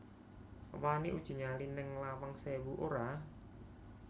Wani uji nyali ning Lawang Sewu ora?